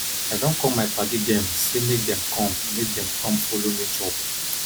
i don call my paddy dem sey make dem com make dem com folo me chop